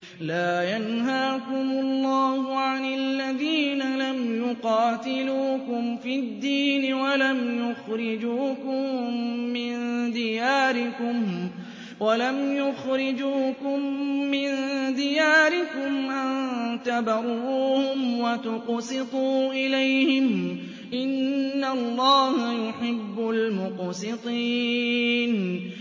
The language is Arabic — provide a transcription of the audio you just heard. لَّا يَنْهَاكُمُ اللَّهُ عَنِ الَّذِينَ لَمْ يُقَاتِلُوكُمْ فِي الدِّينِ وَلَمْ يُخْرِجُوكُم مِّن دِيَارِكُمْ أَن تَبَرُّوهُمْ وَتُقْسِطُوا إِلَيْهِمْ ۚ إِنَّ اللَّهَ يُحِبُّ الْمُقْسِطِينَ